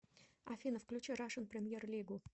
афина включи рашн премьер лигу